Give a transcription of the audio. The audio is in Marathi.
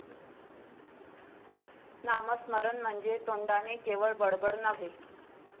नामस्मरण म्हणजे तोंडाने केवळ बडबड नव्हे.